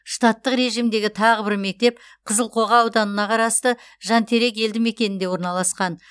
штаттық режимдегі тағы бір мектеп қызылқоға ауданына қарасты жантерек елдімекенінде орналасқан